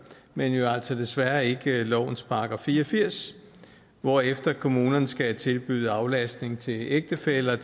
men jo altså desværre ikke i lovens § fire og firs hvorefter kommunerne skal tilbyde aflastning til ægtefæller